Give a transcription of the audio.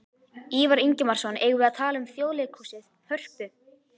Ívar Ingimarsson: Eigum við að tala um Þjóðleikhúsið, Hörpu?